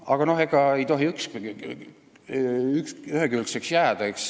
Aga noh, ei tohi ühekülgne olla, eks ole.